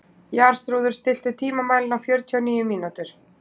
Jarþrúður, stilltu tímamælinn á fjörutíu og níu mínútur.